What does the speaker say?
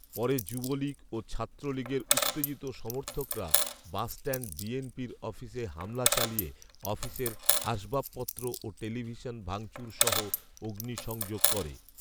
পরে যুবলীগ ও ছাত্রলীগের উত্তেজিত সমর্থকরা বাসষ্ট্যান্ড বিএনপির অফিসে হামলা চালিয়ে অফিসের আসবাব পত্র ও টেলিভিশন ভাঙচুরসহ অগ্নি সংযোগ করে